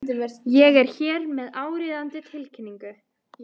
Ég er hér með áríðandi tilkynningu.